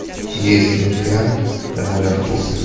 есть ли у тебя король артур